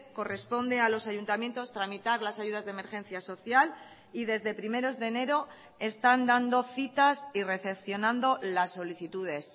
corresponde a los ayuntamientos tramitar las ayudas de emergencia social y desde primeros de enero están dando citas y recepcionando las solicitudes